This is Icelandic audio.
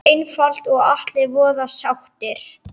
Einfalt og allir voða sáttir!